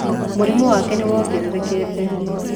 Mũrimo wake nĩ wongererekete.